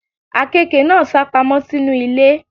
Àkekè náà sápamọ́ sínú ilé.